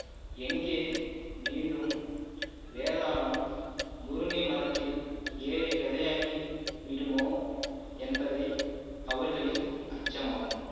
எங்கே மீண்டும் வேதாளம் முருங்கை மரத்தில் ஏழை கதையாகி விடுமோ என்பதை அவர்களின் அச்சமாகும்